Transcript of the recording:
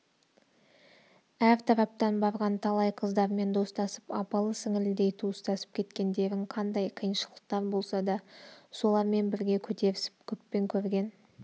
әр тараптан барған талай қыздармен достасып апалы-сіңлідей туыстасып кеткендерін қандай қиыншылықтар болса да солармен бірге көтерісіп көппен көрген